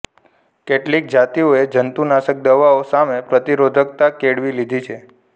કેટલીક જાતિઓએ જંતુનાશક દવાઓ સામે પ્રતિરોધકતા કેળવી લીધી છે